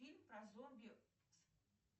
фильм про зомби с